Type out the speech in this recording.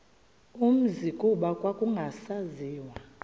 umzi kuba kwakungasaziwa